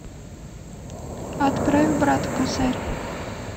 отправь брату косарь